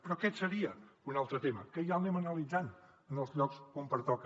però aquest seria un altre tema que ja l’anem analitzant en els llocs on pertoca